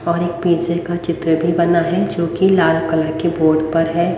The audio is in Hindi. और एक पिछे का चित्र भी बना है जोकि लाल कलर के बोर्ड पर है।